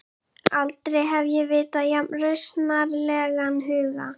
Aldrei hef ég vitað jafn rausnarlegan huga.